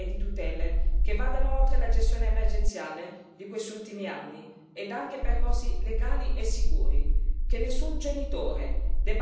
Per loro chiediamo una serie di garanzie e di tutele che vadano oltre la gestione emergenziale di questi ultimi anni e anche percorsi legali e sicuri